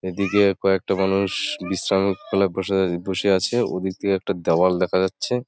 এদিকে কয়েকটা মানুষ বিশ্রাম বসা বসে আছে ওদিক একটা দেয়াল দেখা যাচ্ছে।